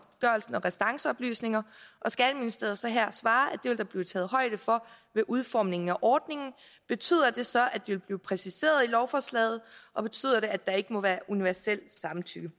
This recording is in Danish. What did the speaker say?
restanceoplysninger og skatteministeriet så her svarer at det vil der blive taget højde for ved udformningen af ordningen betyder det så at vil blive præciseret i lovforslaget og betyder det at der ikke må være universelt samtykke